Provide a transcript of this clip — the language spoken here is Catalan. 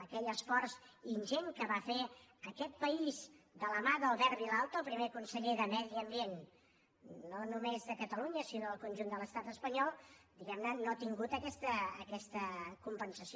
aquell esforç ingent que va fer aquest país de la mà d’albert vilalta el primer conseller de medi ambient no només de catalunya sinó del conjunt de l’estat espanyol diguem ne no ha tingut aquesta compensació